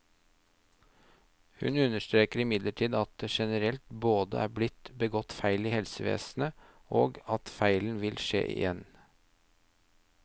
Hun understreker imidlertid at det generelt både er blitt begått feil i helsevesenet, og at feil vil skje igjen.